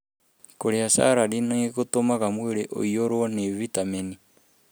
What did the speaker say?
Kũrĩa salandi nĩ gũtũmaga mwĩrĩ ũiyũrũo nĩ vitamini.